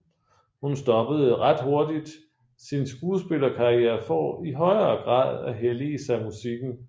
Hun stoppede ret hurtigt sin skuespillerkarriere for i højere grad at hellige sig musikken